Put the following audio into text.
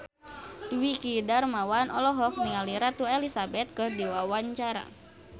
Dwiki Darmawan olohok ningali Ratu Elizabeth keur diwawancara